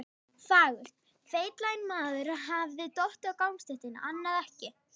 fagurt: Feitlaginn maður hafði dottið á gangstéttina, annað ekki.